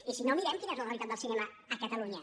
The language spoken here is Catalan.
i si no mirem quina és la realitat del cinema a catalunya